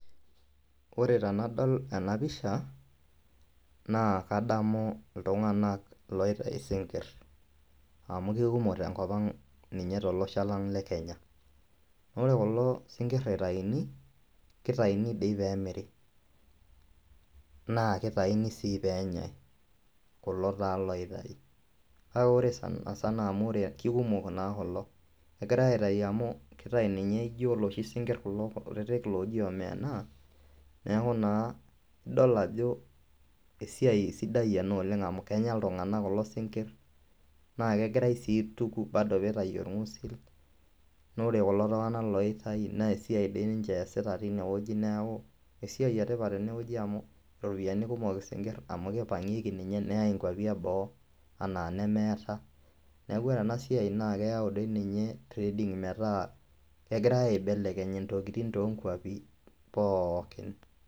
Kore tenadol ena pisha naa kadamu ltunganak loitai sinkirr, amu kekumok te nkopang ninye te losho lang le k Kenya ore kulo sinkir eitaini, keitaini dei peemiri, naa keitaini sii peenyai, kulo taa loitai.N aa ore sanisana amu kekumok naa kulo, kegirai aitaii amu ketua ninye eloshi sinkiri kulo kutitik looji omenaa, neaku naa idol ajo esiai sidai ena oleng amu kenya ltunganak kulo sinkir, naa kegirai sii aituk peitai olngusil, naa ore kulo tunganak loitai naa esiai dei ninche easita teine weji naaku esiai etipat eneweji amu ropiyiani kumok sinkir amu keipang'ieki ninye neyai enkwapi eboo ena nemeeta, naaku ore ena siaai naa keyau dei ninye trading metaa kegirai aibelekeny ntokitin too inkwapi pookin.